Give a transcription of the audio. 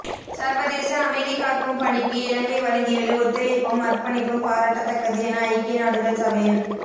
சர்வதேச அமைதிகாக்கும் பணிக்கு இலங்கை வழங்கியுள்ள ஒத்துழைப்பும் அர்ப்பணிப்பும் பாராட்டத்தக்கது என ஐக்கிய நாடுகள் சபையின்